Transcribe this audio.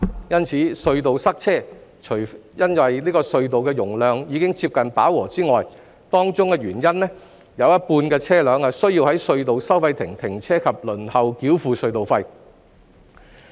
因此，隧道塞車，除因隧道的容量已接近飽和外，當中原因是有一半車輛需要在隧道收費亭停車及輪候繳付隧道費。